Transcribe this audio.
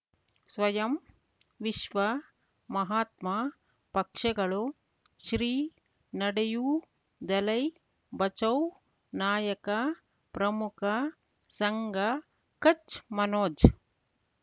ಸ್ವಯಂ ವಿಶ್ವ ಮಹಾತ್ಮ ಪಕ್ಷಗಳು ಶ್ರೀ ನಡೆಯೂ ದಲೈ ಬಚೌ ನಾಯಕ ಪ್ರಮುಖ ಸಂಘ ಕಚ್ ಮನೋಜ್